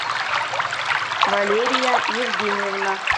валерия евгеньевна